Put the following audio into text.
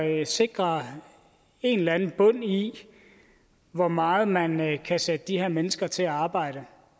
af at sikre en eller anden bund i hvor meget man man kan sætte de her mennesker til at arbejde